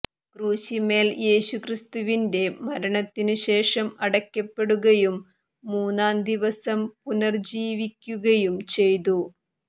ക്രൂശിന്മേൽ യേശുക്രിസ്തുവിന്റെ മരണത്തിനുശേഷം അടക്കപ്പെടുകയും മൂന്നാം ദിവസം പുനർജ്ജീവിക്കുകയും ചെയ്തു